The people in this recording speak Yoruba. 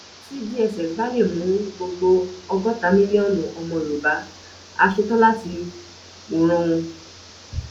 tí dss bá lè mú gbogbo ọgọta mílíọnù ọmọ yorùbá á ṣetán láti wòran wọn